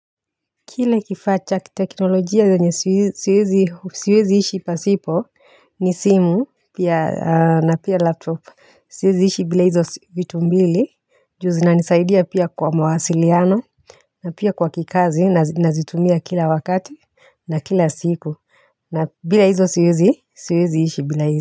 Kile kifaa cha kiteknolojia yenye siwezi ishi pasipo ni simu ya na pia laptop siwezi ishi bila hizo vitu mbili juu zinanisaidia pia kwa mawasiliano na pia kwa kikazi na ninazitumia kila wakati na kila siku na bila hizo siwezi ishi bila.